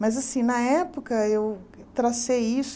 Mas, assim, na época eu tracei isso.